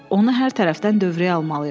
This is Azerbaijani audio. Onu hər tərəfdən dövrəyə almalıyıq.